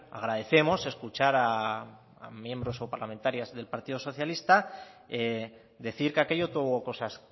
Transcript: agradecemos escuchar a miembros o parlamentarias del partido socialista decir que aquello tuvo cosas